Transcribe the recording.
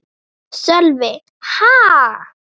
Sölvi: Ha?